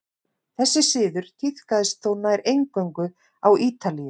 þessi siður tíðkaðist þó nær eingöngu á ítalíu